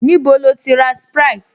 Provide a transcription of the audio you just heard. Níbo lo ti ra sprite?